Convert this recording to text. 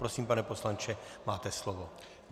Prosím, pane poslanče, máte slovo.